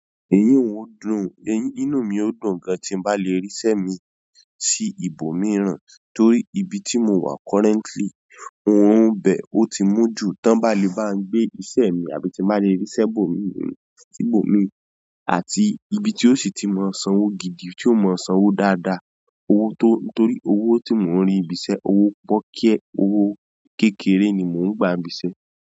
Èyí n ó dùn, inú mi ó dùn gan tí n bá lè ríṣẹ́ mi sí ibòmíràn torí ibi tí mo wà currently orun bẹ ò tí mú jù tán bá le bá ń gbé iṣẹ́ mi àbí tí bá lè ríṣẹ́ bòmíràn sí ibò mi àti ibi tí ó sì tí mọ sanwó gidi tí ó mọ sanwó dáadáa. Owó tó-- torí owó tí mò ń rí ibi iṣẹ́, owó pọ́kíẹ́, owó kékeré ni mò ń gba nibi iṣẹ́.